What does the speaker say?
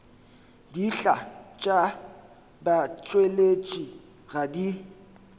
dihlaa tša batšweletši ga di